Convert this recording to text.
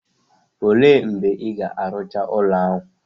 O le mgbe Ị ga-arụcha ụlọ ahụ?